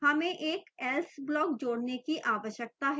हमें एक else block जोड़ने की आवश्यकता है